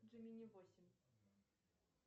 джимини восемь